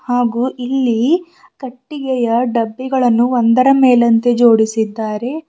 ಹಾಗು ಇಲ್ಲಿ ಕಟ್ಟಿಗೆಯ ಡಬ್ಬಿಗಳನ್ನು ಒಂದರ ಮೇಲಂತೆ ಜೋಡಿಸಿದ್ದಾರೆ.